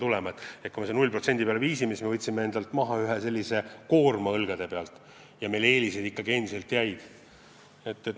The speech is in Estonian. Kui me tulumaksu 0% peale viime, siis me võtame endalt koorma õlgade pealt maha, meie eelised aga jäävad.